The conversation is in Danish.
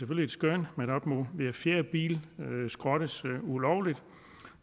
kun et skøn at op mod hver fjerde bil skrottes ulovligt